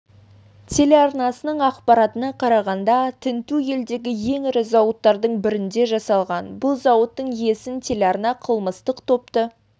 телеарнасының ақпаратына қарағанда тінту елдегі ең ірі зауыттардың бірінде жасалған бұл зауыттың иесін телеарна қылмыстық топты